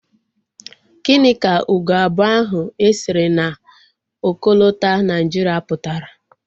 Gịnị ka ugo abụọ ahụ e sere na okolota Naijiria pụtara?